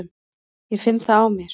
Ég finn það á mér.